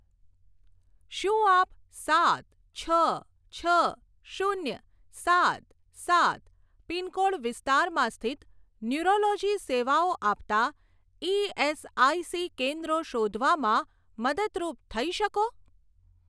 શું આપ સાત છ છ શૂન્ય સાત સાત પિનકોડ વિસ્તારમાં સ્થિત ન્યૂરોલોજી સેવાઓ આપતાં ઇએસઆઇસી કેન્દ્રો શોધવામાં મદદરૂપ થઇ શકો?